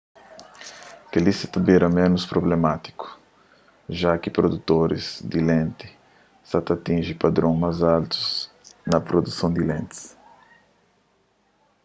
kel-li sa ta bira ménus prublemátiku ja ki produtoris di lenti sa ta atinji padron más altu na produson di lentis